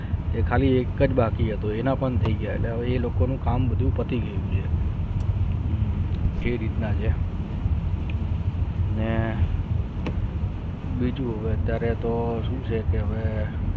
એખાડી એકચ બાકી હતા એના પણ થયી ગયા એને કોનો કામ પતિ ગયું હમ કઈ રીતના છે અને બીજું અત્યારે તો શું છે કે